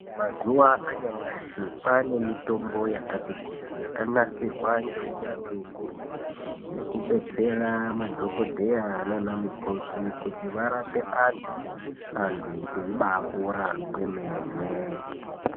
Mazuwa anyamashi kwane mitombo yakati kuti yakanasirwa ngeunyanzvi ukurutu yekubetsera madhokodheya nanamukoti kuti varape antu, antu eibapora kwemene.